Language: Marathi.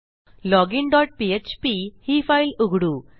लॉजिन डॉट पीएचपी ही फाईल उघडू